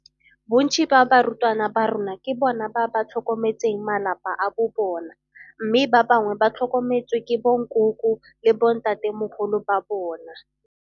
Bontsi jwa barutwana ba rona ke bona ba ba tlhokometseng malapa a bo bona mme ba bangwe ba tlhokometswe ke bonkoko le bontatemogolo ba bona.